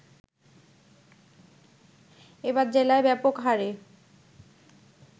এবার জেলায় ব্যাপক হারে